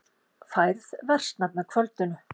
Færð versnar með kvöldinu